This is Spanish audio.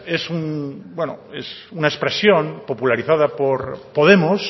es una expresión popularizada por podemos